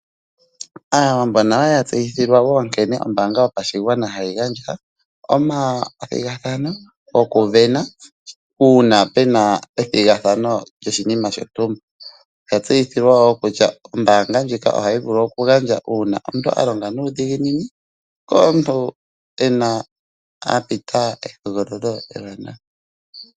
Aawambo nayo oya tseyithilwa wo nkene ombanga yopashigwana hayi gandja omathigathano gokuvena uuna pu na ethigathano lyoshinima shontumba, oya tseyithilwa wo kutya ombaanga ndjika ohayi vulu okugandja uuna omuntu a longa nuudhiginini nenge uuna omuntu a pita ehogololo ewanawa.